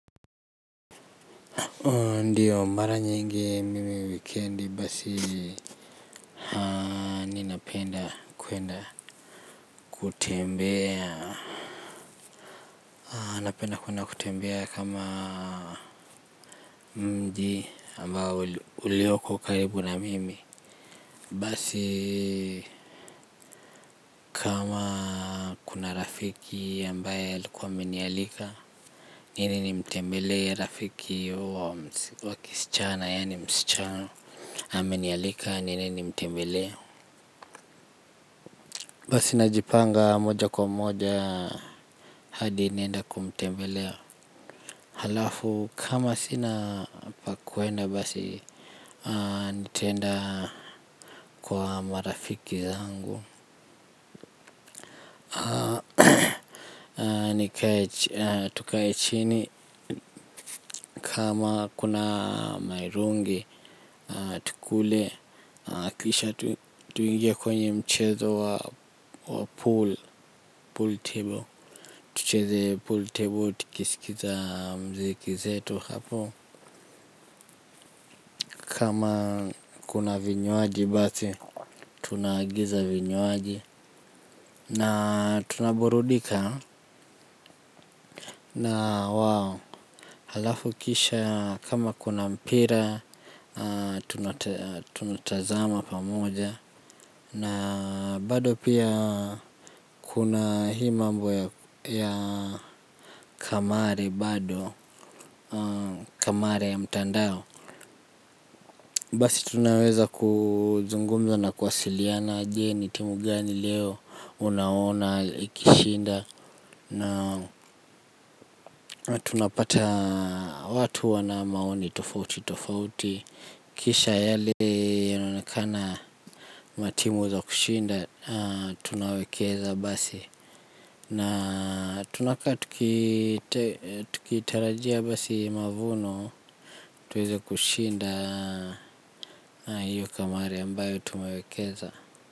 Ndiyo mara nyingi mimi wikiendi basi mimi napenda kwenda kutembea. Napenda kwenda kutembea kama mji ambao ulioko karibu na mimi. Basi kama kuna rafiki ambaye aikuwa amenialika. Nini nimtembelee rafiki wakisichana yaani msichana. Amenialika niende nimtembelee. Basi najipanga moja kwa moja hadi naenda kumtembelea. Halafu kama sina pa kwenda basi nitaenda kwa marafiki zangu. Tukae chini kama kuna mirungi tukule. Kisha tuingie kwenye mchezo wa pool table. Tucheze pool table tikisilikiza mziki zetu hapo. Kama kuna vinywaji basi tunaagiza vinywaji. Na tunaburudika na wao. Halafu kisha kama kuna mpira tunatazama pamoja. Na bado pia kuna hii mambo ya kamari bado. Kamari ya mtandao. Basi tunaweza kuzungumza na kwasiliana je ni timu gani leo unaona ikishinda. Na tunapata watu wana maoni tofauti tofauti. Kisha yale yanaonekana matimu za kushinda tunawekeza basi. Na tunakaa tukitarajia basi mavuno tuweze kushinda iyo kamari ambayo tumewekeza.